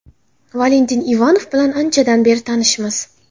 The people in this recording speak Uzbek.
Valentin Ivanov bilan anchadan beri tanishmiz.